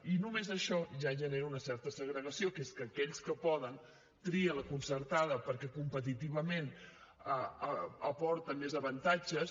i només això ja genera una certa segregació que és que aquells que poden trien la concertada perquè competitivament aporta més avantatges